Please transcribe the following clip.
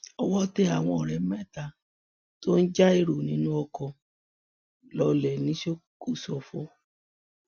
owó tẹ àwọn ọrẹ mẹta tó ń já èrò inú ọkọ lọlẹ ní kòsòfo